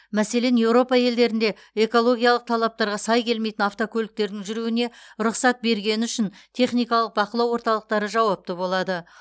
мәселен еуропа елдерінде экологиялық талаптарға сай келмейтін авткөліктердің жүруіне рұқсат бергені үшін техникалық бақылау орталықтары жауапты болады